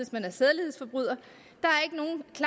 man er sædelighedsforbryder